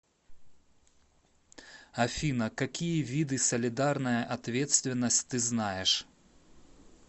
афина какие виды солидарная ответственность ты знаешь